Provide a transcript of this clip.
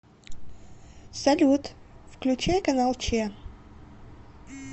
салют включай канал че